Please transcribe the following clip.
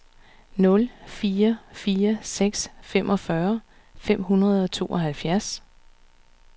nul fire fire seks femogfyrre fem hundrede og tooghalvfjerds